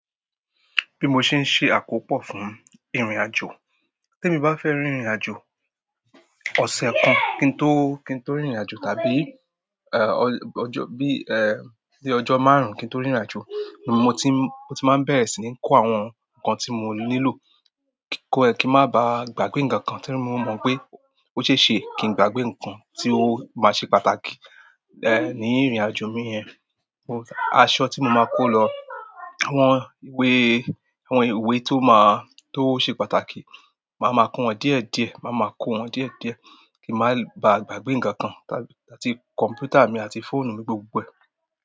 Bí mo ṣe ń ṣe àkópọ̀ fún ìrìnàjò, tí èmi bá fẹ́ rìnrìnàjò ọ̀sẹ̀ kan kí n tó, kí n tó rìnrìnàjò tàbí, ẹ, ọjọ́, bí, ẹ, bí ó jọ máàrún kí n tó rìnrìnàjò, mo ti, mo ti máa bẹ̀rẹ̀ sí ní kó àwọn nǹkan tí mo nílò, kin ma baa gba gbe nkan nkan ti mo mon pe ose se kin gba gbe nkan ti o ma se pàtàkì ni irin ajo mi yen. Aṣọ tí mo máa kó lọ, àwọn ìwé, àwọn ìwé tó máa, tó ṣe pàtàkì, màá ma kó wọn díẹ̀díẹ̀, màá ma kó wọn díẹ̀díẹ̀ kí màá ba gbàgbé ǹkan kan, tàbí, tàbí àti computer mi àti fóònù mi gbogbo.